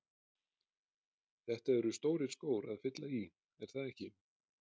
Þetta eru stórir skór að fylla í, er það ekki?